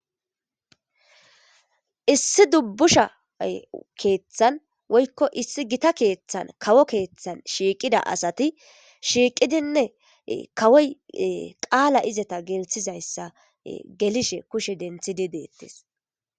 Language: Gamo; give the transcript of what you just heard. Isii dubbusha keeththan woykko issi gita keeththan kawo keeththan shiiqida asati shiiqidinne kawoy qaala izeta gelthizayssa gelishe kushe denthidi deettis.